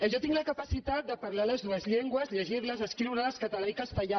jo tinc la capacitat de parlar totes dues llengües llegir hi escriure hi català i castellà